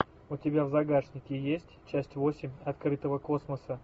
у тебя в загашнике есть часть восемь открытого космоса